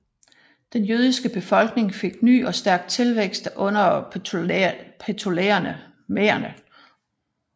Denne jødiske befolkning fik ny og stærk tilvækst under Ptolemæerne